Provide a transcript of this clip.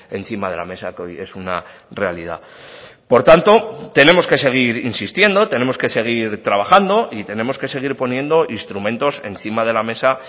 encima de la mesa que hoy es una realidad por tanto tenemos que seguir insistiendo tenemos que seguir trabajando y tenemos que seguir poniendo instrumentos encima de la mesa